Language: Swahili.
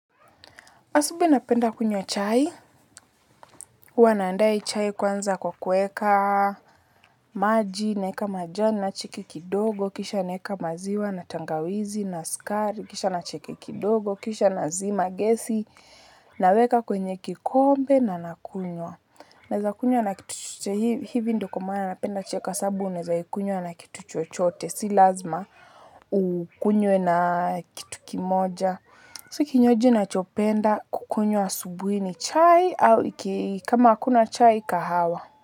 Asubuhi napenda kunywa chai, huwa naanda chai kwanza kwa kuweka, maji, naweka majani, chiki kidogo, kisha naweka maziwa, na tangawizi, na sukari, kisha nachiki kidogo, kisha nazima, gesi, naweka kwenye kikombe na nakunywa. Naweza kunywa na kitu chochote, hivi ndo kwamaana napenda chai kwasababu, naweza ikunywa na kitu chochote, si lazima ukunywe na kitu kimoja. Kinywaji nachopenda, kukunywa asubuhi ni chai, au kama akuna chai, kahawa.